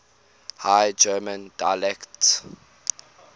high german dialects